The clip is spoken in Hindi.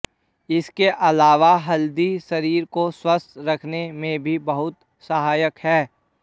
इसके अलावा हल्दी शरीर को स्वस्थ रखने में भी बहुत सहायक है